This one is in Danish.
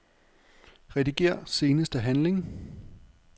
Rediger seneste handling.